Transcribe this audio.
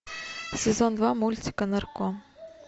сезон два мультика нарко